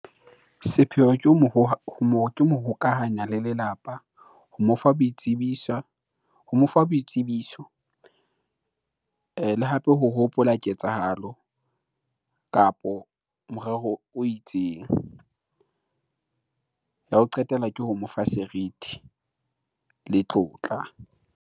Sepheo ke ho mo hokahanya le lelapa ho mo fa boitsebiso ho mo fa boitsebiso ene. Hape ho hopola ke tsalo kapo morero o itseng ya ho qetela ke ho mo fa serithi le tlotla.